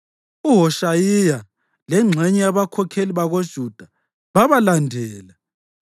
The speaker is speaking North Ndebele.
UHoshayiya lengxenye yabakhokheli bakoJuda babalandela,